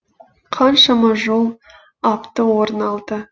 қаншама жол апты орын алды